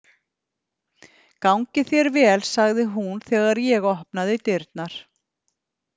Gangi þér vel, sagði hún þegar ég opnaði dyrnar.